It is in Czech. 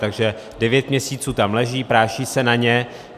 Takže devět měsíců tam leží, práší se na ně.